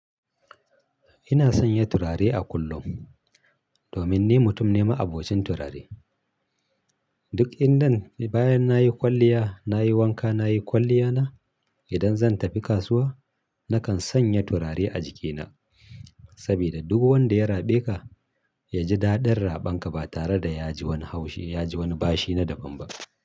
Ina sanya turare a kullum domin ni mutum ne ma'abocin turare. Duk inda bayan na yi kwalliya, na yi wanka, na yi kwalliya na, idan zan tafi kasuwa nakan sanya turare a jikina. Saboda duk wanda ya raɓe ka, ya ji daɗin raɓan ka ba tare da ya ji wani bashi na daban ba.